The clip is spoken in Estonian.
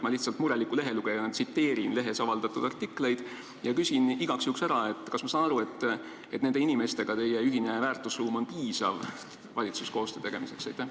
Ma lihtsalt mureliku lehelugejana tsiteerin lehes avaldatud artikleid ja küsin igaks juhuks ära: kas ma saan õigesti aru, et teie ja nende inimeste ühine väärtusruum on piisav valitsuskoostöö tegemiseks?